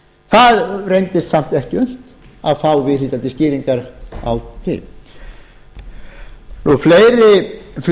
það reyndist samt ekki unnt að fá viðhlítandi skýringar á því fleiri